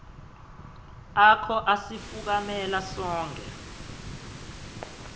akho asifukamela sonkhe